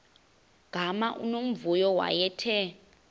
gama unomvuyo wayethe